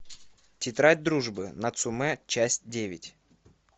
тетрадь дружбы нацумэ часть девять